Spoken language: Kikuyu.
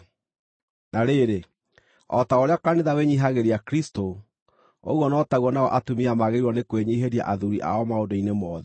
Na rĩrĩ, o ta ũrĩa kanitha wĩnyiihagĩria Kristũ, ũguo no taguo nao atumia magĩrĩirwo nĩ kwĩnyiihĩria athuuri ao maũndũ-inĩ mothe.